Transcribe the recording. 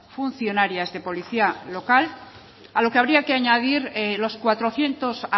funcionarias de policía local a lo que habría que añadir los cuatrocientos